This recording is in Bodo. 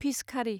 फिस खारि